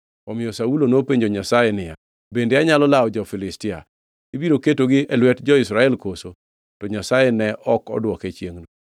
Omiyo Saulo nopenjo Nyasaye niya, “Bende anyalo lawo jo-Filistia? Ibiro ketogi e lwet jo-Israel koso?” To Nyasaye ne ok odwoke chiengʼno.